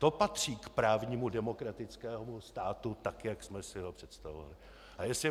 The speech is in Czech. To patří k právnímu demokratickému státu, tak jak jsme si ho představovali.